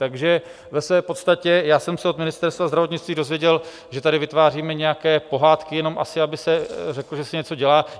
Takže ve své podstatě já jsem se od Ministerstva zdravotnictví dozvěděl, že tady vytváříme nějaké pohádky jenom asi, aby se řeklo, že se něco dělá.